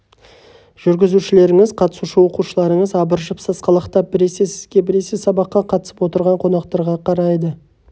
жүргізушілеріңіз қатысушы оқушыларыңыз абыржып сасқалақтап біресе сізге біресе сабаққа қатысып отырған қонақтарға қарайды